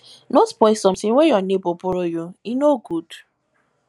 no spoil sometin wey your nebor borrow you e no good